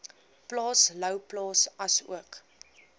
plaas louwplaas asook